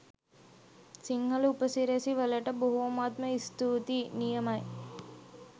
සිංහල උපසිරැසි වලට බොහොමත්ම ස්තූතියි! නියමයි.